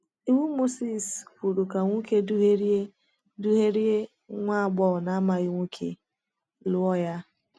Iwu Mosis kwuru ka nwoke duhiere duhiere nwa agbọghọ na-amaghị nwoke lụọ ya.